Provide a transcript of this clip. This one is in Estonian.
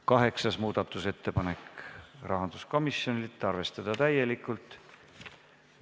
Kaheksas muudatusettepanek, rahanduskomisjonilt, arvestada täielikult.